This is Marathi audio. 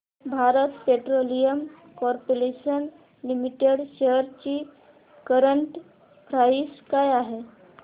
Bharat petroleum corporation limited shares ची करंट प्राइस काय आहे